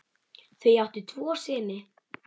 Þau áttu tvo syni.